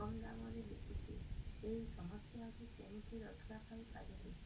କମ୍ ଦାମ୍ ରେ ବିକୁଛି ଏହି ସମସ୍ୟାରୁ କେମିତି ରକ୍ଷାପାଇ ପାରିବି